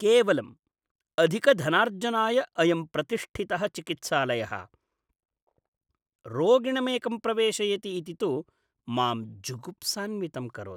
केवलम् अधिकधनार्जनाय अयं प्रतिष्ठितः चिकित्सालयः रोगिणमेकं प्रवेशयति इति तु मां जुगुप्सान्वितं करोति।